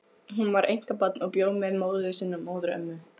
Hún var einkabarn og bjó með móður sinni og móðurömmu.